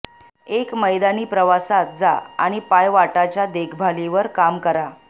एक मैदानी प्रवासात जा आणि पायवाटाच्या देखभालीवर काम करा